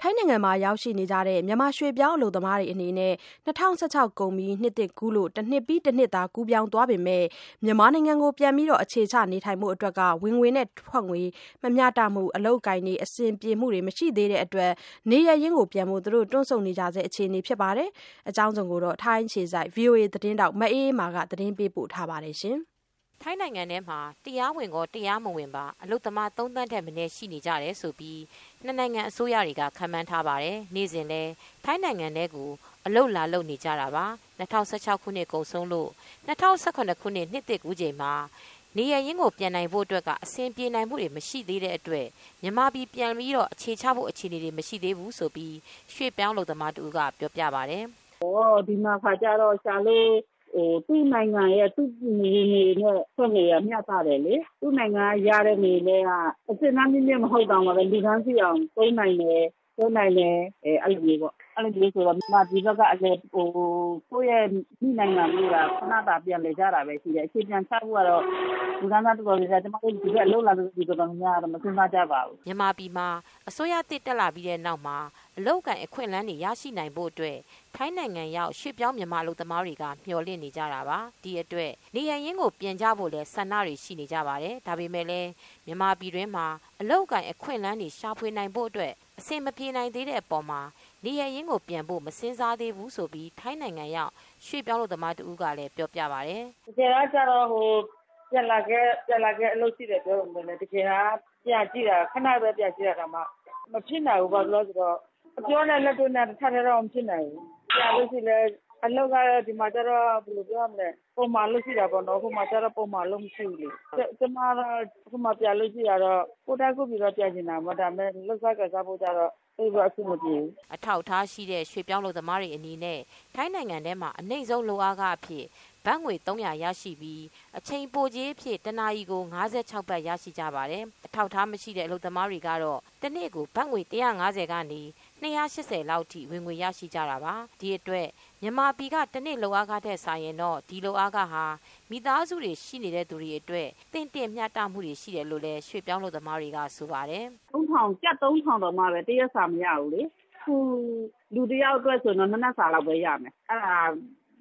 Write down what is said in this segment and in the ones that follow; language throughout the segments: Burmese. ထိုင်းနိုင်ငံမှာရောက်ရှိနေကြတဲ့မြန်မာရွှေ့ပြောင်းအလုပ်သမားတွေအနေနဲ့ ၂၀၁၆ကုန်ပြီး နှစ်သစ်ကူးလို့တနှစ်ပြီးတနှစ်သာကူးပြောင်းသွားပေမယ့် မြန်မာပြည်ကို ပြန်ပြီး အခြေချနေထိုင်ဖို့ အတွက်က ဝင်ငွေ၊ ထွက်ငွေမမျှတမှု အလုပ်အကိုင်တွေ အဆင်ပြေမူတွေ မရှိသေးတဲ့အတွက်နေရပ်ရင်းပြန်ဖို့ တွန့်ဆုတ် နေကြဆဲဖြစ်ပါတယ်။ မအေးအေးမာက သတင်းပေးပို့ ထားပါတယ် ။ ထိုင်းနိုင်ငံမှာ တရားဝင်ကော၊ တရားမဝင်ကော အလုပ်သမား ၃သန်းထက်မနည်းရှိနေကြတယ်လို့ နှစ်နိုင်ငံအစိုးရတွေကခန့်မှန်းထားပါတယ်။ နေစဉ်လည်း ထိုင်းနိုင်ငံထဲကိုအလုပ်လာလုပ်နေကြတာပါ။ ၂၀၁၆ခုနှစ်ကုန်ဆုံးလို့၂၀၁၇ခုနှစ်သစ်ကူးချိန်မှာ နေရပ်ရင်းကိုပြန်နိုင်ဖို့အတွက် က အဆင်ပြေမူ မရှိနိုင်သေးတဲ့အတွက် မြန်မာပြည်ပြန်ဖို့ အခြေချဖို့ အခြေအနေတွေ မရှိသေးဘူးလို့ရွှေ့ပြောင်း အလုပ်သမားတဦးက ပြောပြပါတယ်။ “ဒီမှာကျတော့ သူ့နိုင်ငံရဲ့ ဝင်ငွေနဲ့ ထွက်ငွေက မျှတတယ်လေ။ သူ့နိုင်ငံက ရတဲ့ ငွေနဲ့ က အဆင့်တန်းမြင့်မြင့် မဟုတ်သော်လည်း လူတန်းစေ့အောင် သုံးနိုင်တယ်။ အဲလိုမျိုးဆိုတော့ ကိုယ့်မြန်မာပြည် အမိနိုင်ငံကိုက ခဏတာပြန်လည်ကြတာပဲရှိတယ်၊ အခြေပြန်ချဖို့ကတော့ ကျမတို့ ဒီဘက်အလုပ်လာလုပ်တဲ့ လူတော်တော်များများကတော့ မစဉ်းစားကြပါဘူး။” မြန်မာပြည်မှာအစိုးရသစ်တက်လာပြီးတဲ့နောက်မှာ အလုပ်အကိုင်အခွင့်အလမ်းတွေရရှိနိုင်ဖို့အတွက် ထိုင်းနိုင်ငံရောက်ရွှေ့ပြောင်းအလုပ်သမားတွေကမျှော်လင့်နေကြတာပါ ။ ဒီအတွက်နေရပ်ရင်းကို ပြန်ကြဖို့လည်းဆန္ဒတွေရှိနေကြပါတယ်။ ဒါပေမဲ့လည်း မြန်မာပြည်တွင်းမှာ အလုပ်အကိုင်အခွင့်အလမ်း တွေရှာဖွေနိုင်ဖို့အတွက် အဆင်မပြေနိုင်သေးတဲ့ အပေါ်မှာ နေရပ်ရင်းကိုပြန်ဖို့ မစဉ်းစားသေးဘူးလို့ထိုင်းနိုင်ငံရောက် ရွှေ့ပြောင်းအလုပ်သမား တဦးကလည်း ပြောပြပါတယ်။ “ပြန်လာခဲ့ အလုပ်ရှိတယ် ပြောပေမယ့်လည်း တကယ်တမ်းကျတော့ ခဏပဲ ပြန်ကြည့်တာတောင်မှ မဖြစ်နိုင်ဘူးပေါ့ လောလောဆယ်တော့။ အပြောနဲ့ လက်တွေ့က မဖြစ်နိုင်ဘူး ပြန်ရင်လည်း အလုပ်က ဒီမှာတော့ ပုံမှန်အလုပ်ရှိတာပေါ့နော်၊ ဟိုမှာတော့ ပုံမှန်အလုပ်မရှိဘူးလေ။ ကျမကတော့ ကိုယ့်တိုင်းကိုယ့်ပြည်ကတော့ ပြန်ချင်တာပေါ့နော် ဒါပေမယ့် လုပ်စားကိုင်စားဖို့ကတော့ အဆင်မပြေဘူး။” အထောက်အထားရှိတဲ့ရွှေ့ပြောင်းအလုပ်သမားတွေအနေနဲ့ ထိုင်းနိုင်ငံမှာအနှိမ့်ဆုံးလုပ်အားခအဖြစ် ဘတ်ငွေ ၃၀၀ ရရှိပြီး အချိန်ပိုကြေးအဖြစ် တနာရီကို ၅၆ ဘတ် ရရှိကြပါတယ်။ အထောက်အထားမရှိတဲ့ အလုပ်သမားတွေကတော့ တနေ့ကို ဘတ်ငွေ ၁၅၀ ကနေ ၂၈၀ လောက်ထိဝင်ငွေရရှိကြတာပါ။ ဒီအတွက်မြန်မာပြည်ကတနေ့ လုပ်အားခထက်စာရင်တော့ ဒီလုပ်အားခဟာ မိသားစုတွေရှိတဲ့သူတွေ အတွက် တော့ သင့်တင့်မျှတမူရှိတယ်လို့လည်း ရွှေ့ပြောင်းအလုပ်သမားတွေကဆိုပါတယ်။ “ကျပ် ၃၀၀၀ တောင်မှပဲ တရက်စာမရဘူးလေ၊ လူတယောက်အတွက်ဆိုရင်တော့ ၂ နှပ်စာလောက်ပဲရမယ်၊ အဲဒါ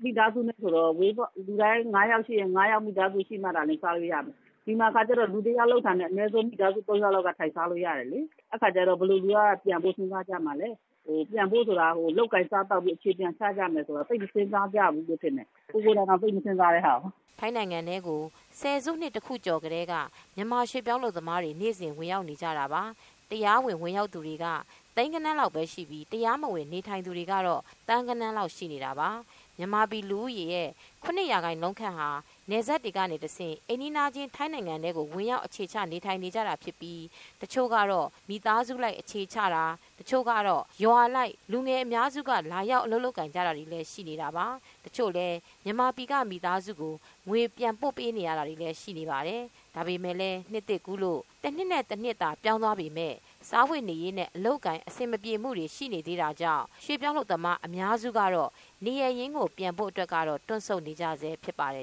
မိသားစု တစုအတွက်ဆိုရင်တော့ လူ ၅ ယောက်ရှိတယ်ဆိုရင် ၅ ယောက်လုပ်မှ စားလို့ရတယ်။ ဒီမှာကတော့ ၁ ယောက်လုပ်ရင် ၃ ယောက်ကတော့ ထိုင်စားလို့ရတယ်ဆိုတော့ ဘယ်သူက ပြန်ဖို့ စဉ်းစားကြမှာလဲ။ ပြန်ဖို့ဆိုတာက လုပ်ကိုင်စားသောက်ပြီးအခြေပြန်ချကြမယ်ဆိုရင် သိပ်မစဉ်းစားကြဘူးလို့ထင်တယ်။ ကိုယ်တွေတောင်သိပ်မစဉ်းစားကြဘူး။” ထိုင်းနိုင်ငံထဲကို လွန်ခဲ့တဲ့ ၁၀စုနှစ်တခုကျော် ကတည်းက ရွှေ့ပြောင်းအလုပ်သမားတွေ နေ့စဉ်ဝင်ရောက်လာနေတာပါ ။ တရားဝင်ဝင်ရောက်သူတွေက သိန်းဂဏန်းလောက်ပဲရှိပြီး တရားမဝင်နေထိုင်သူတွေက သန်းဂဏန်းလောက်ရှိနေတာပါ။မြန်မာပြည်လူဦးရေရဲ့ ရာခိုင်နှုန်းခန့်ဟာ နယ်စပ်တွေကတဆင့် အိမ်နီးချင်းထိုင်းနိုင်ငံထဲကို ဝင်ရောက်အခြေချနေထိုင်နေကြပြီး တချို့ကတော့မိသားစုလိုက် အခြေချတာ တချို့ကတော့ ရွာအလိုက် လူငယ်အများစုက လာရောက်အလုပ်လုပ်ကိုင်တွေလည်းရှိနေတာပါ။တချို့လည်း မြန်မာပြည်က မိသားစုကိုငွေပြန်ပို့ပေးရတာတွေလည်းရှိပါတယ်။ ဒါပေမဲ့လည်းနှစ်သစ်ကူးလို့ တနှစ်တနှစ်သာ ပြောင်းသွားပေမယ့် စားဝတ်နေရေးနဲ့ အလုပ်အကိုင် အဆင်မပြေမူတွေရှိနေသေးတဲ့အတွက် ရွှေ့ပြောင်းအလုပ်သမားအများစုကတော့ နေရပ်ရင်းကိုပြန်နိုင်ဖို့ ကတော့ တွန့်ဆုတ်နေကြဆဲဖြစ်ပါတယ်